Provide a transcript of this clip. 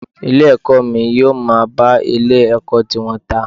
Ilé ẹ̀kọ́ mi yóò máa bá ilé ẹ̀kọ́ tiwọn ta.